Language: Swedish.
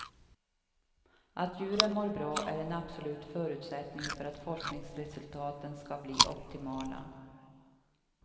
Att djuren mår bra är en absolut förutsättning för att forskningsresultaten ska bli optimala.